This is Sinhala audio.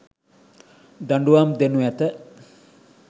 දඩුවම් දෙනු ඇත.